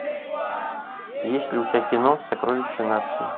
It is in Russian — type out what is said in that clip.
есть ли у тебя кино сокровище нации